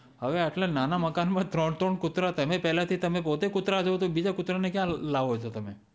હવે એટલા નાના મકાન માં ત્રણ ત્રણ કુતરા તમે પેલેથી પોતે કુતરા છો તો બીજા કુતરા ને ક્યાં લાવો છો